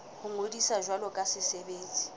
ho ngodisa jwalo ka setsebi